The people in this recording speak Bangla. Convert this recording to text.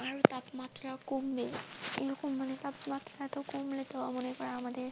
তাপমাত্রা কমবে এইরকম মানে তাপমাত্রা কমলে তো আমাদের।